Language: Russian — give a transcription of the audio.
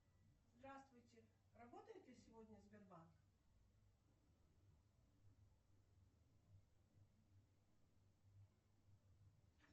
салют давай соберем голос